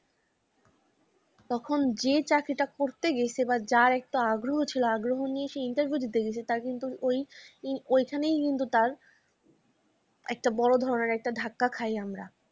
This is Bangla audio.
তখন যে চাকরিটা করতে গেছে বা যার একটা আগ্রহ ছিল আগ্রহ নিয়ে সে interview দিতে গেছে তার কিন্তু ওই ও ঐখানেই কিন্তু তার একটা বড় ধরনের একটা ধাক্কা খাই আমরা।